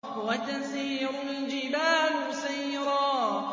وَتَسِيرُ الْجِبَالُ سَيْرًا